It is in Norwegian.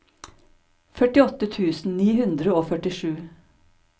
førtiåtte tusen ni hundre og førtisju